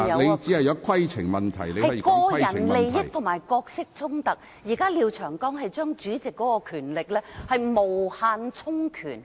現時廖長江議員提出的擬議決議案，是將主席的權力無限充權。